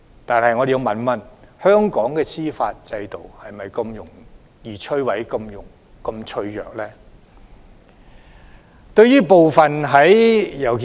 但是，我們要問一問，香港的司法制度是否如此容易被摧毀、是否如此脆弱？